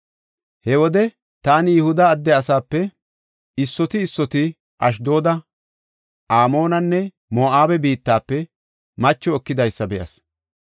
He wode taani Yihuda adde asape issoti issoti Ashdooda, Amoonenne Moo7abe biittafe macho ekidaysa be7as.